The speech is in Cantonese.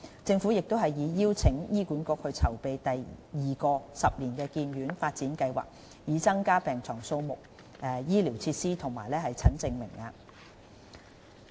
政府亦已邀請醫管局籌備第二個十年醫院發展計劃，以增加病床數目、醫療設施和診症名額。